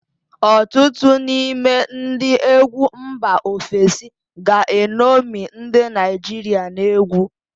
Ọtụtụ n'ime ndị egwu mba ofesi ga-eṅomi ndị Naịjirịa n'egwu